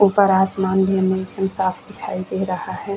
ऊपर आसमान भी हमें एकदम साफ दिखाई दे रहा है।